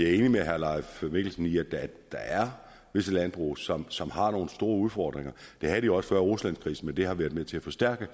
er enig med herre leif mikkelsen i at der er visse landbrug som som har nogle store udfordringer det havde de jo også før ruslandskrisen men det har været med til at forstærke